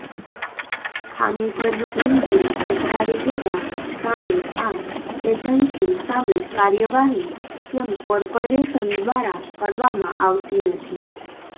ખામીભર્યું engine પધરાવી દેવા સામે આ એજન્સી સામે કાર્યવાહી કેમ કોર્પોરેશન દ્વારા કરવામાં આવતી નથી